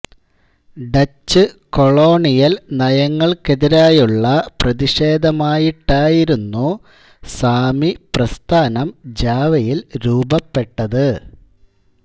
Dutch colonial നയങ്ങൾക്കെതിരായുള്ള പ്രതിഷേധമായിട്ടായിരുന്നു സാമി പ്രസ്ഥാനം ജാവയിൽ രൂപപ്പെട്ടത്